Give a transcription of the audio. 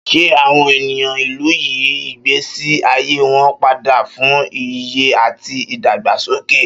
Ṣé àwọn ènìyàn ìlú yí ìgbésí ayé wọn padà fún ìyè àti ìdàgbàsókè?